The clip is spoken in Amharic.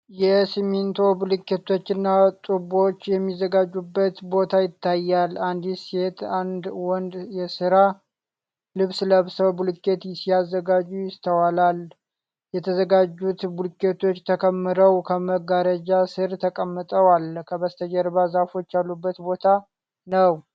የሲሚንቶ ብሎኬቶችና ጡቦች የሚዘጋጁበት ቦታ ይታያል። አንዲት ሴትና አንድ ወንድ የሥራ ልብስ ለብሰው ብሎኬት ሲያዘጋጁ ይስተዋላል። የተዘጋጁት ብሎኬቶች ተከምረው ከመጋረጃ ሥር ተቀምጠዋል። ከበስተጀርባ ዛፎች ያሉበት ቦታ ነው።